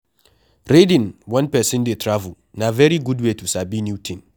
Reading when person dey travel na very good way to sabi new thing